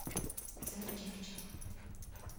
царь чах чах